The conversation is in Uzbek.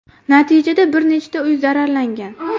Natijada bir nechta uy zararlangan.